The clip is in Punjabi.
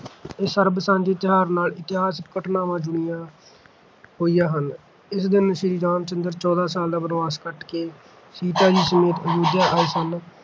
ਇਸ ਸਰਬ-ਸਾਂਝੇ ਤਿਉਹਾਰ ਨਾਲ ਇਤਿਹਾਸਿਕ ਘਟਨਾਵਾਂ ਜੁੜੀਆਂ ਹੋਈਆਂ ਹਨ। ਇਸ ਦਿਨ ਸ੍ਰੀ ਰਾਮ ਚੰਦਰ ਜੀ ਚੋਦਾਂ ਸਾਲ ਦਾ ਬਣਵਾਸ ਕੱਟ ਕੇ ਸੀਤਾ ਜੀ ਸਮੇਤ ਵਾਪਸ ਅਯੁੱਧਿਆ ਆਏ ਸਨ